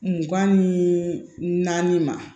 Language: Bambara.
Mugan ni naani ma